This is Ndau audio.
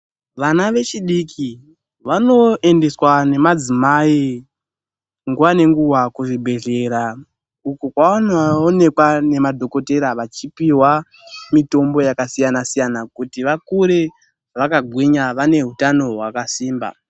Vana vechidiki vanoendeswa ngemadzimai nguwa ngenguwa kuzvibhehlera uko kwavanoonekwa ngemadhokotera vachipihwa mitombo yakasiyana siyana kuti vakure vakagwinya vane hutano hwakasimba.